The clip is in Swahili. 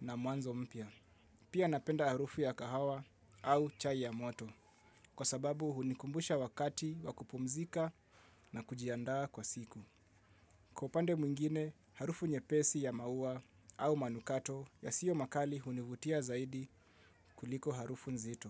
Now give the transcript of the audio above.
na mwanzo mpya. Pia napenda harufu ya kahawa au chai ya moto, kwa sababu hunikumbusha wakati wa kupumzika na kujiandaa kwa siku. Kwa upande mwingine, harufu nyepesi ya mauwa au manukato yasio makali hunivutia zaidi kuliko harufu nzito.